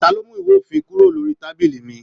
Ta ló mú ìwé òfin kúrò lórí tábìlì mí?